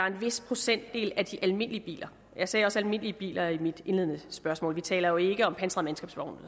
en vis procentdel af de almindelige biler jeg sagde også almindelige biler i mit indledende spørgsmål vi taler jo ikke om pansrede